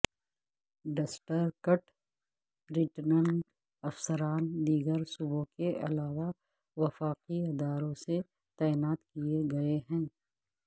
district returning افسران دیگر صوبوں کے علاوہ وفاقی اداروں سے تعینات کیے گئے ہیں